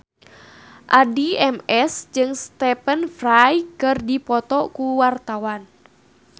Addie MS jeung Stephen Fry keur dipoto ku wartawan